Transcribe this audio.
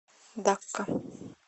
дакка